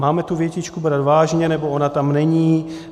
Máme tu větičku brát vážně, nebo ona tam není?